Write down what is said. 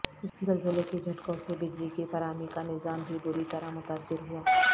زلزلے کے جھٹکوں سے بجلی کی فراہمی کا نظام بھی بری طرح متاثر ہوا